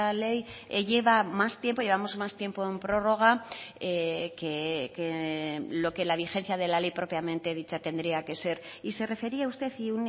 ley lleva más tiempo llevamos más tiempo en prórroga que lo que la vigencia de la ley propiamente dicha tendría que ser y se refería usted y